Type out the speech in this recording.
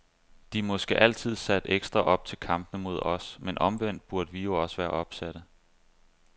De er måske altid sat ekstra op til kampene mod os, men omvendt burde vi jo også være opsatte.